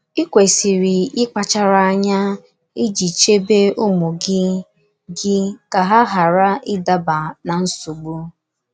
Ị kwesịrị ịkpachara anya iji chebe ụmụ gị gị ka ha ghara ịdaba ná nsogbu.